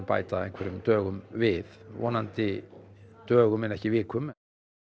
bæta einhverjum dögum við vonandi dögum en ekki vikum